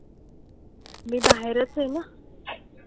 मी बाहेरच आहे ना.